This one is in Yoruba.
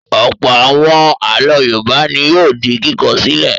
Ọ̀pọ̀ àwọn àlọ́ Yorùbá ni yóò di kíkọ sílẹ̀.